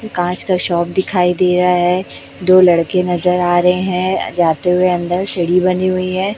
कांच का शॉप दिखाई दे रहा है दो लड़के नजर आ रहे हैं जाते हुए अंदर सीढी बनी हुई है।